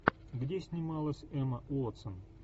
где снималась эмма уотсон